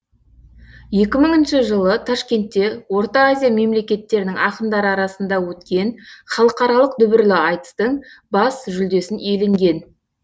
екі мыңыншы жылы ташкентте орта азия мемлекеттерінің ақындары арасында өткен халықаралық дүбірлі айтыстың бас жүлдесін иеленген